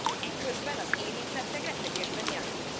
Eközben az érintettek rettegésben élnek.